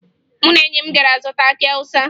Mụ na enyi m gara zụta akị Awụsa